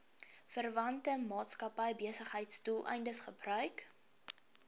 verwante maatskappybesigheidsdoeleindes gebruik